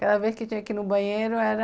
Cada vez que eu tinha que ir no banheiro era